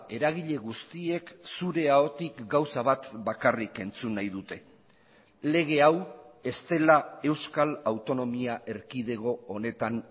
eragile guztiek zure ahotik gauza bat bakarrik entzun nahi dute lege hau ez dela euskal autonomia erkidego honetan